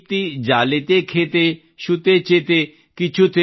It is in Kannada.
ಪ್ರೊ ದೀಪ್ತಿ ಜಾಲಿತೆಖೆತೆ ಶುತೆ ಜೆತೆ